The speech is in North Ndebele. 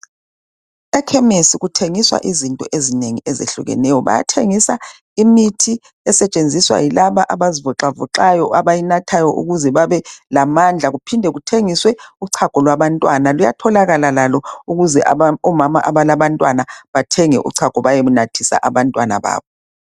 Ekhemesi kuthengiswa izinto ezingeni ezehlukeneyo. Bayathengisa imithi esetshenziswa yilaba abazivoxavoxayo abayinathayo ukuze babe lamandla. Kuphinde kuthengiswe uchago lwabantwana luyatholakala lalo ukuze omama abalabantwana bathenge uchago bayenathisa abantwana babo.